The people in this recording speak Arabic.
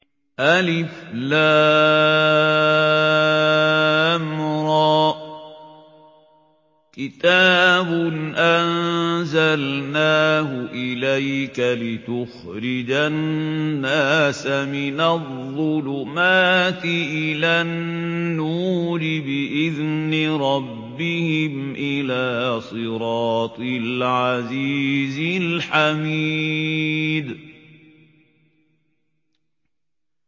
الر ۚ كِتَابٌ أَنزَلْنَاهُ إِلَيْكَ لِتُخْرِجَ النَّاسَ مِنَ الظُّلُمَاتِ إِلَى النُّورِ بِإِذْنِ رَبِّهِمْ إِلَىٰ صِرَاطِ الْعَزِيزِ الْحَمِيدِ